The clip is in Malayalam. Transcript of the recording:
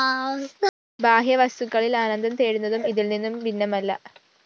ബാഹ്യവസ്തുക്കളില്‍ ആനന്ദം തേടുന്നതും ഇതില്‍നിന്നും ഭിന്നമല്ല